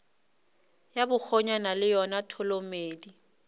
ya bakgonyana ke yona tholomedi